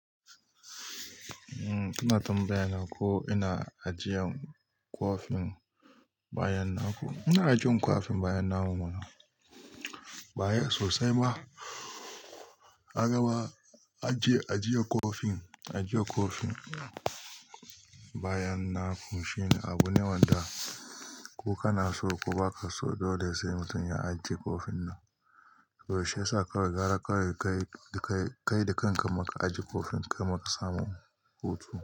Eh, kina tambayan ko ina ajiyan kwafin bayan na. Ko ina ajiyan kwafin bayan na mana? Baya sosai ba. Wani ma ya ce ajiyan kofin, a jiye kofin ba yan na koshi ne abu ne wanda ko kana so ko baka so dole sai mutum ya ajiye kofin nan. Toh shiyasa kawai gara kawai kai, kai da kanka ma ka ajiye kofin kamin ka samu hutu.